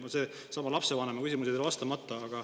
Küsimusele lapsevanema kohta jäi vastamata.